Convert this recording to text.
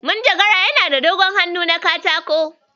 Manjagarar yana da dogon hannu na katako.